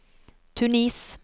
Tunis